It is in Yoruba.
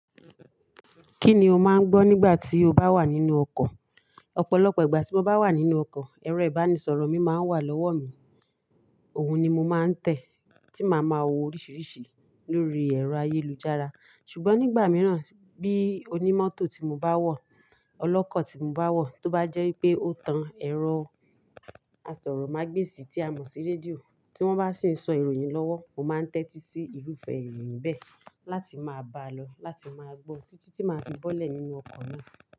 Kí ni o máa ń gbọ́ nígbà tí o bá wà nínú ọkọ̀? Ọ̀pọ̀lọpọ̀ ìgbà tí mo bá wà nínú ọkọ̀, ẹ̀rọ ìbánisọ̀rọ̀ mi máa ń wà lọ́wọ́ mi. Òun ni mo máa ń tẹ̀ tí màá ma wo oríṣìíríṣìí lórí ẹ̀rọ ayélujára. Ṣùgbọ́n nígbà mìíràn bí onímọ́tò tí mo bá wọ̀, ọlọ́kọ̀ tí mo bá wọ̀ tó bá jẹ́ pé ó tan ẹ̀rọ asọ̀rọ̀ mágbèsi tí a mọ̀ sí rédíò tí wọ́n bá sì ń sọ ìròyìn lọ́wọ́, mo máa ń tẹ́tí sí irúfẹ́ ìròyìn bẹ́ẹ̀ láti máa bá a lọ láti máa gbó títí tí màá fi bọ́lẹ̀ nínú ọkọ̀ náà.